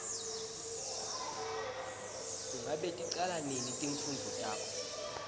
ngabe ticala nini timfundvo takho